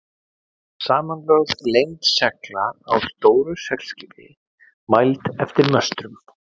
Samanlögð lengd segla á stóru seglskipi, mæld eftir möstrunum.